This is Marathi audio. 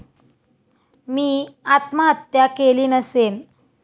मी आत्महत्या केली नसेन.